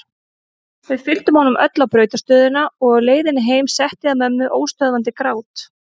Við fylgdum honum öll á brautarstöðina og á leiðinni heim setti að mömmu óstöðvandi grát.